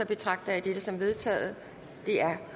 betragter jeg dette som vedtaget det er